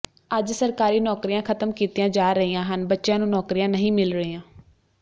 ਅੱਜ ਸਰਕਾਰੀ ਨੌਕਰੀਆਂ ਖਤਮ ਕੀਤੀਆ ਜਾ ਰਹੀਆਂ ਹਨ ਬੱਚਿਆਂ ਨੂੰ ਨੌਕਰੀਆਂ ਨਹੀਂ ਮਿਲ ਰਹੀਆਂ